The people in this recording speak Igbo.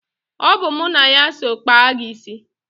Ọ bụ mụ na ya so kpaa gị isi.